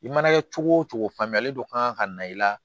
I mana kɛ cogo o cogo faamuyali dɔ kan ka na i la